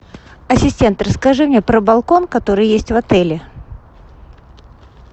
ассистент расскажи мне про балкон который есть в отеле